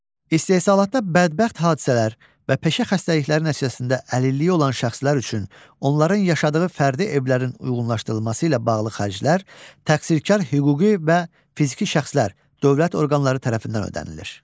İstehsalatda bədbəxt hadisələr və peşə xəstəlikləri nəticəsində əlilliyi olan şəxslər üçün, onların yaşadığı fərdi evlərin uyğunlaşdırılması ilə bağlı xərclər, təqsirkar hüquqi və fiziki şəxslər, dövlət orqanları tərəfindən ödənilir.